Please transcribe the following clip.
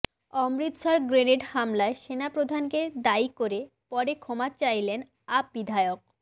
Amritsar grenade হামলায় সেনাপ্রধানকে দায়ী করে পরে ক্ষমা চাইলেন আপ বিধায়ক